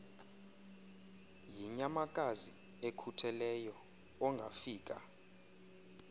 yinyamakazi ekhutheleyo ongafika